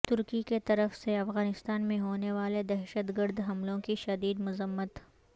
ترکی کیطرف سے افغانستان میں ہونے والے دہشت گرد حملوں کی شدید مذمت